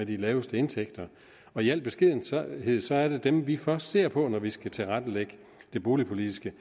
de laveste indtægter og i al beskedenhed er det dem vi først ser på når vi skal tilrettelægge det boligpolitiske